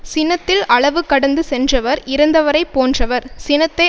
சினத்தில் அளவு கடந்து சென்றவர் இறந்தவரைப் போன்றவர் சினத்தை